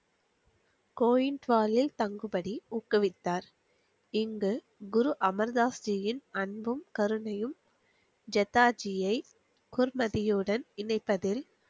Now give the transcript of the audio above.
கோவில் வாயில் தங்குபடி ஊக்குவித்தார் இங்கு அமுர்தாஸ்ரீயில் அன்பும் கருணையும் ஜெதாஜியை குருமதியுடன் இணைப்பதில்